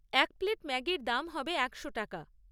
এক প্লেট ম্যাগির দাম হবে একশো টাকা।